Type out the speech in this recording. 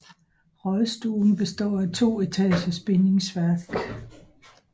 Rådstuen består af to etagers bindingsværk